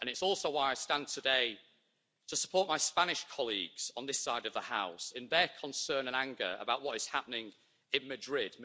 It is also why I stand today to support my Spanish colleagues on this side of the House in their concern and anger about what is happening in Madrid.